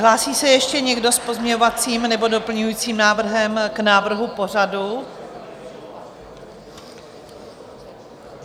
Hlásí se ještě někdo s pozměňovacím nebo doplňujícím návrhem k návrhu pořadu?